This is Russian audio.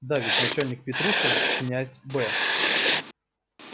да ведь начальник петрушин князь б